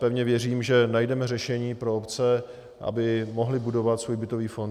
Pevně věřím, že najdeme řešení pro obce, aby mohly budovat svůj bytový fond.